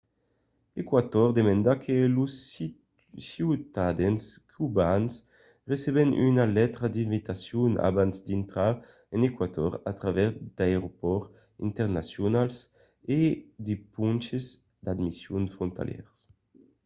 eqüator demanda que los ciutadans cubans receben una letra d’invitacion abans d’intrar en eqüator a travèrs d’aeropòrts internacionals o de ponches d’admission frontalièrs